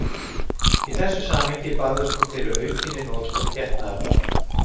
Í þessu samhengi barðist hún fyrir aukinni notkun getnaðarvarna.